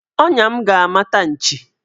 Ọnya m ga-amata nchi.